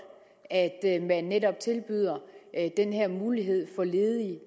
at man netop tilbyder den her mulighed for ledige